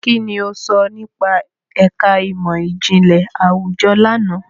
Kini o sọ nipa ẹka imọ-jinlẹ awujọ làná?